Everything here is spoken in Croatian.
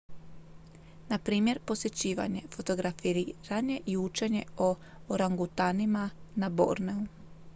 na primjer posjećivanje fotografiranje i učenje o orangutanima na borneu